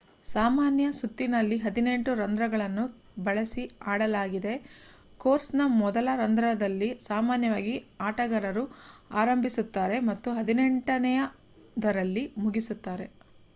ಸಾಮಾನ್ಯ ಸುತ್ತಿನಲ್ಲಿ ಹದಿನೆಂಟು ರಂಧ್ರಗಳನ್ನು ಬಳಸಿ ಆಡಲಾಗಿದೆ ಕೋರ್ಸ್‌ನ ಮೊದಲ ರಂಧ್ರದಲ್ಲಿ ಸಾಮಾನ್ಯವಾಗಿ ಆಟಗಾರರು ಆರಂಭಿಸುತ್ತಾರೆ ಮತ್ತು ಹದಿನೆಂಟನೆಯದರಲ್ಲಿ ಮುಗಿಸುತ್ತಾರೆ